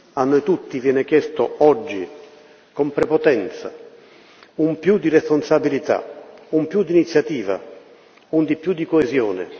A noi tutti viene chiesto oggi, con prepotenza, un più di responsabilità, un più d'iniziativa, un di più di coesione.